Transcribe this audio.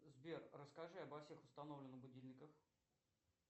сбер расскажи обо всех установленных будильниках